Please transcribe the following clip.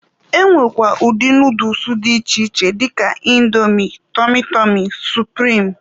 E nwekwara ụdị nooduls dị iche iche dịka Índomi, tọmy tọmy, supirim wdg.